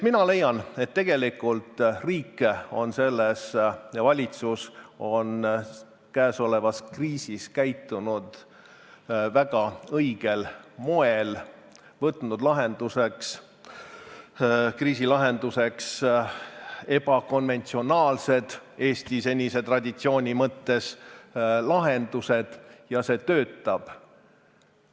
Mina leian, et tegelikult riik ja valitsus on käesolevas kriisis käitunud väga õigel moel, on kasutanud kriisi lahenduseks ebakonventsionaalseid – Eesti senise traditsiooni mõttes – lahendusi, ja see töötab.